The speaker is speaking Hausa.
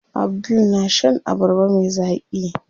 Abdul na shan abarba me zaƙi.